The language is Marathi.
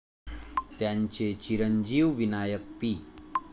त्यांचे चिरंजीव विनायक पी.